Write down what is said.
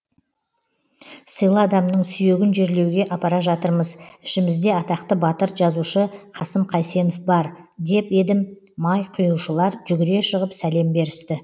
сыйлы адамның сүйегін жерлеуге апара жатырмыз ішімізде атақты батыр жазушы қасым қайсенов бар деп едім май құюшылар жүгіре шығып сәлем берісті